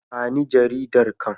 Ba ni jaridar can.